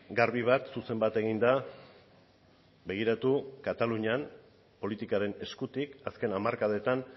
garbi bat zuzen bat egin da begiratu katalunian politikaren eskutik azken hamarkadetan